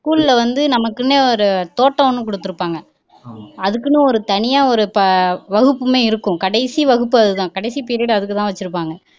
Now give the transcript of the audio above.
school ல வந்து நமக்குன்னே தோட்டம் ஒண்ணு குடுத்துருப்பாங்க அதுக்குன்னு ஒரு தனியா ஒரு வகுப்புமே இருக்கும் கடைசி வகுப்பு அதுதான் கடைசி period அதுக்குதான் வச்சிருப்பாங்க